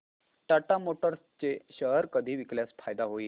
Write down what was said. Tata Motors चे share कधी विकल्यास फायदा होईल